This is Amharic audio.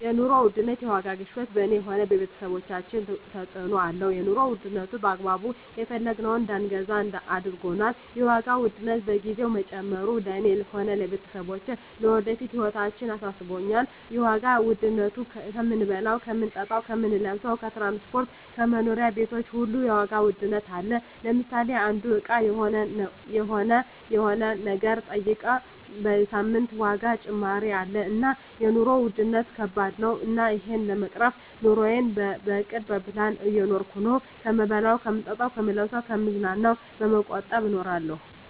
የኑሮ ውድነት የዋጋ ግሽበት በኔ ሆነ በቤተሰቦቻችን ተጽእኖ አለው የኑሮ ዉድነቱ በአግባቡ የፈለግነውን እዳንገዛ አርጎናል የዋጋ ውድነት በየግዜው መጨመሩ ለእኔ ሆነ ለቤተሰቦቸ ለወደፊት ህይወታችን አሳስቦኛል የዋጋ ዉድነቱ ከምንበላው ከምንጠጣው ከምንለብሰው ከትራንስፖርት ከመኖሪያ ቤቶች ሁሉ የዋጋ ውድነት አለ ለምሳሌ አንዱ እቃ ሆነ የሆነ ነገር ጠይቀ በሳምንት የዋጋ ጭማሪ አለ እና የኖሩ ዉድነት ከባድ ነው እና እሄን ለመቅረፍ ኑረየን በእቅድ በፕላን እየኖርኩ ነው ከምበላው ከምጠጣ ከምለብሰው ከምዝናናው በመቆጠብ እኖራለሁ